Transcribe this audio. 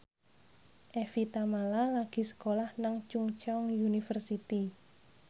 Evie Tamala lagi sekolah nang Chungceong University